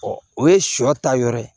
o ye sɔ ta yɔrɔ ye